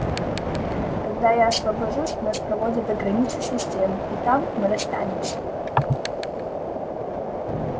когда я освобожусь нас проводят до границы системы и там мы расстанемся